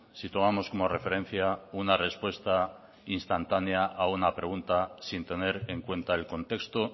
si tomamos como referencia una respuesta instantánea a una pregunta sin tener en cuenta el contexto